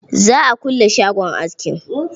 Za a kulle shagon askin.